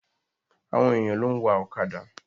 Àwọn èyàn ló ń wa ọ̀kàdà.